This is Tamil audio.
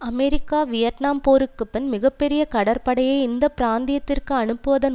அமெரிக்கா வியட்நாம் போருக்கு பின் மிக பெரிய கடற்படையை இந்த பிராந்தியத்திற்கு அனுப்புவதன்